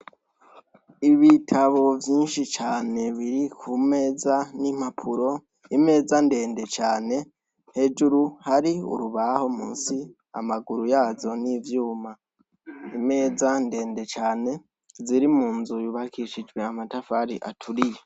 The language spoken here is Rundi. Ibitabo vyinshi cane biri ku meza n'impapuro. Imeza ndende cane, hejuru hari urubaho musi, amaguru yazo ni ivyuma. Imeza ndende cane ziri mu nzu yubakishijwe amatafari aturiye.